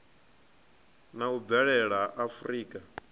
na u bvelela ha afurika